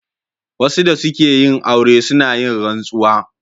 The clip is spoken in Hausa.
Wasu da suke yin aure suna yin rantsuwa.